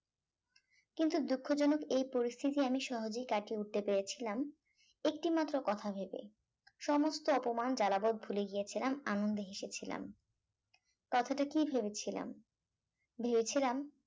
কিন্তু দুঃখজনক এই পরিস্থিতি আমি সহজে কাটিয়ে উঠতে পেরেছিলাম একটি মাত্র কথা ভেবে সমস্ত অপমান জ্বালা ভাব ভুলে গিয়েছিলাম আনন্দে হেসেছিলাম কথাটা কি ভেবেছিলাম ভেবেছিলাম